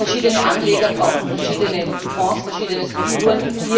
Verschiedene Anleger brauchen verschiedene Fonds und verschiedene Strukturen.